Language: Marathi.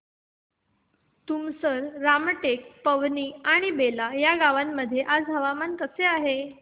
तुमसर रामटेक पवनी आणि बेला या गावांमध्ये आज हवामान कसे आहे